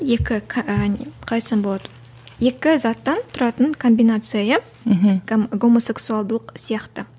екі қалай айтсам болады екі заттан тұратын комбинация иә мхм гомосексуалдылық сияқты